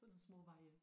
Sådan nogle små veje